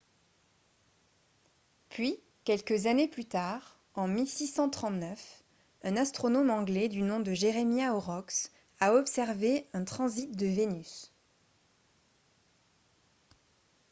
puis quelques années plus tard en 1639 un astronome anglais du nom de jeremiah horrocks a observé un transit de vénus